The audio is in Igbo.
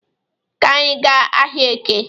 Ka anyị gaa ahịa Eke